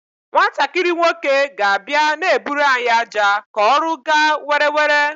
Nwatakịrị nwoke ga abia na-eburu anyị aja ka ọrụ gaa were were